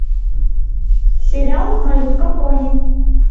сериал малютка пони